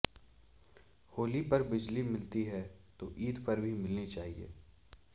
होली पर बिजली मिलती है तो ईद पर भी मिलनी चाहिए